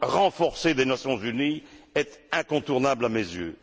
renforcé des Nations unies est incontournable à mes yeux.